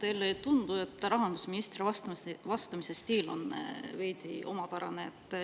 Kas teile ei tundu, et rahandusministri vastamise stiil on veidi omapärane?